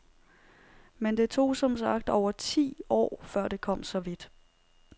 Men det tog som sagt over ti år, før det kom så vidt.